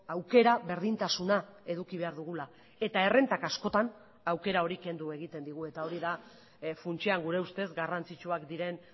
aukera berdintasuna eduki behar dugula eta errentak askotan aukera hori kendu egiten digu eta hori da funtsean gure ustez garrantzitsuak diren